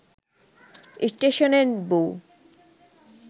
স্টেশনের বউ